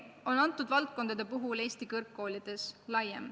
Nende valdkondade puhul on see probleem Eesti kõrgkoolides üldine.